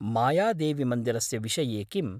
मायादेवीमन्दिरस्य विषये किम्?